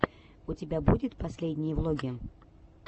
у тебя будет последние влоги